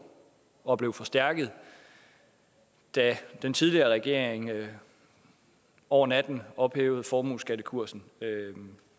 og blev forstærket da den tidligere regering over natten ophævede formueskattekursen